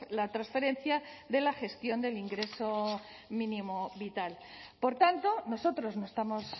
la transferencia de la gestión del ingreso mínimo vital por tanto nosotros no estamos